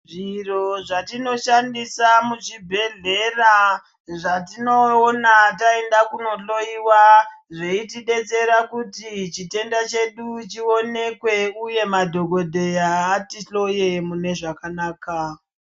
Zviro zvatinoshandisa muchibhehlera zvatinoona taenda kunohloyiwa zveitidetsera kuti chitenda chedu chionekwe uye madhokodheya atihloye mune zvakanaka.